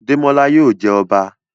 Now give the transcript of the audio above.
Demola yóò jé ọba